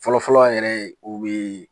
Fɔlɔ-fɔlɔ yɛrɛ o bɛ